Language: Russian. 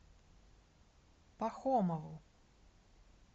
пахомову